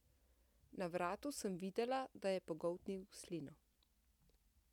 Na vratu sem videla, da je pogoltnil slino.